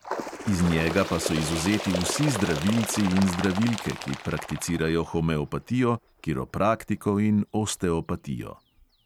Iz njega pa so izvzeti vsi zdravilci in zdravilke, ki prakticirajo homeopatijo, kiropraktiko in osteopatijo.